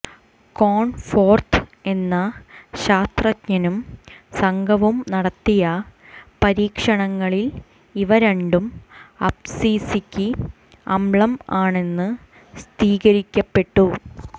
Cornforth എന്ന ശാസ്ത്രജ്ഞനും സംഘവും നടത്തിയ പരീക്ഷണങ്ങളിൽ ഇവ രണ്ടും അബ്സിസിക്ക് അമ്ളം ആണെന്ന് സ്ഥിരീകരിക്കപ്പെട്ടു